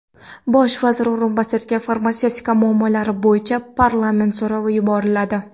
Bosh vazir o‘rinbosariga farmatsevtika muammolari bo‘yicha parlament so‘rovi yuboriladi.